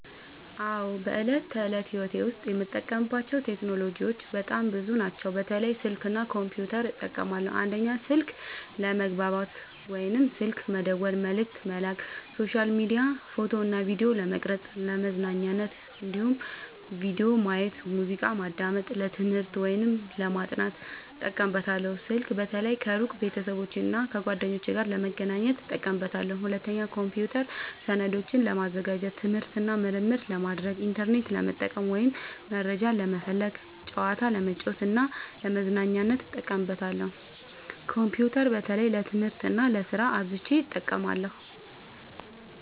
አዎ፣ በዕለት ተዕለት ሕይወቴ ዉስጥ የምጠቀምባቸው ቴክኖሎጂዎች በጣም ብዙ ናቸው፣ በተለይ ስልክ እና ኮምፒውተር እጠቀማለሁ። 1. ስልክ፦ ለመግባባት (ስልክ መደወል፣ መልዕክት መላክ)፣ሶሻል ሚዲያ፣ ፎቶ እና ቪዲዮ ለመቅረጵ፣ ፣ለመዝናኛነት(ቪዲዮ ማየት፣ ሙዚቃ ማዳመጥ)፣ ለትምህርት(ለማጥናት) እጠቀምበታለሁ። ስልክ በተለይ ከሩቅ ቤተሰቦቼና እና ጓደኞቼ ጋር ለመገናኘት እጠቀምበታለሁ። 2. ኮምፒውተር፦ ሰነዶችን ለማዘጋጀት፣ ትምህርት እና ምርምር ለማድረግ፣ ኢንተርኔት ለመጠቀም (መረጃ ለመፈለግ)፣ ጨዋታ ለመጫወት እና ለመዝናኛነት እጠቀምበታለሁ። ኮምፒውተር በተለይ ለትምህርት እና ለስራ አብዝቸ እጠቀማለሁ።